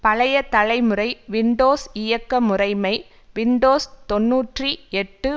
பழைய தலைமுறை விண்டோஸ் இயக்க முறைமை விண்டோஸ்தொன்னூற்றி எட்டு